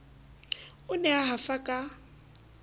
o ne a hafa ka